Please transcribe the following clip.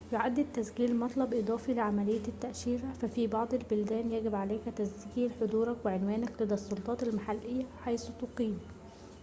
يُعَد التسجيل مطلب إضافي لعملية التأشيرة ففي بعض البلدان يجب عليك تسجيل حضورك وعنوانك لدى السلطات المحلية حيث تقيم